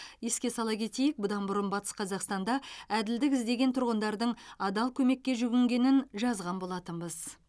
еске сала кетейік бұдан бұрын батыс қазақстанда әділдік іздеген тұрғындардың адал көмекке жүгінгенін жазған болатынбыз